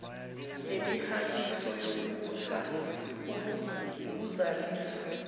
nemihahiso yokubutha ukuzalisa